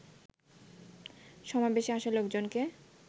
সমাবেশে আসা লোকজনকে